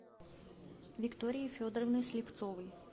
виктории федоровны слепцовой